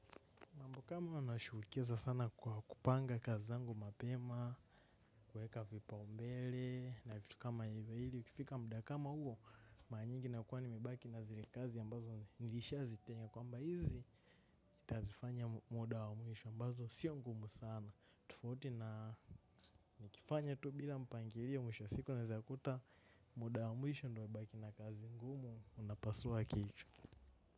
Mtu kama anashughulikiza sana kwa kupanga kazi zangu mapema, kuweka vipaumbele, na vitu kama hivyo ili, ikifika muda kama huo, mara nyingi nakuwa nimebaki na zile kazi ambazo nilishazitenga kwamba hizi, nitazifanya muda wa mwisho ambazo sio ngumu sana. Tofauti na nikifanya tu bila mpangilio mwisho wa siku unawezakuta muda wa mwisho ndio umebaki na kazi ngumu unapasua akili.